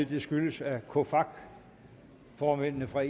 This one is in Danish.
det skyldes at cofacc formændene fra